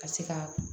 Ka se ka